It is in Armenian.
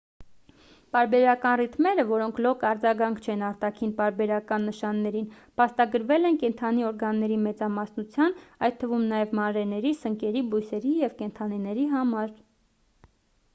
պարբերական ռիթմերը որոնք լոկ արձագանք չեն արտաքին պարբերական նշաններին փաստագրվել են կենդանի օրգանների մեծամասնության այդ թվում նաև մանրէների սնկերի բույսերի և կենդանիների համար